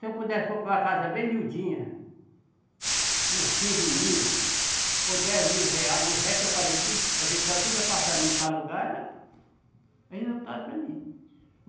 Se eu pudesse comprar uma casa bem miudinha, por quinze mil ou dez mil reais, e o resto eu fazia tudo, ajeitar tudo apartamento para alugar, era resultado para mim.